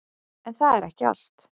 En það er ekki allt.